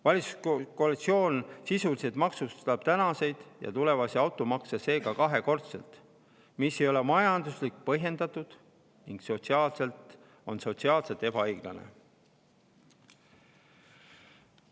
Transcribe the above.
Valitsuskoalitsioon maksustab tänaseid ja tulevasi autoomanikke seega sisuliselt kahekordselt, mis ei ole majanduslikult põhjendatud ning on sotsiaalselt ebaõiglane.